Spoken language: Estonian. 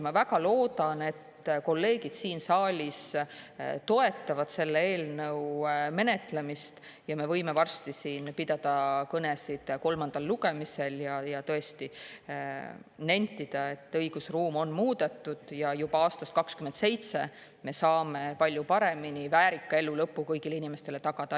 Ma väga loodan, et kolleegid siin saalis toetavad selle eelnõu menetlemist ja me võime varsti siin pidada kõnesid kolmandal lugemisel ja tõesti nentida, et õigusruum on muudetud ja juba aastast 2027 me saame palju paremini väärika elulõpu kõigile inimestele tagada.